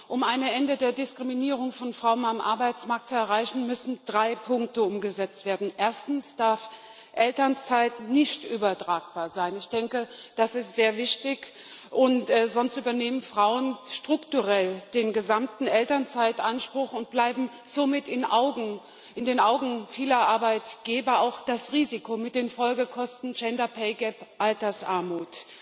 Um ein Ende der Diskriminierung von Frauen am Arbeitsmarkt zu erreichen, müssen drei Punkte umgesetzt werden Erstens darf Elternzeit nicht übertragbar sein. Das ist sehr wichtig, sonst übernehmen Frauen strukturell den gesamten Elternzeitanspruch und bleiben somit in den Augen vieler Arbeitgeber auch das Risiko mit den Folgekosten gender pay gap Altersarmut.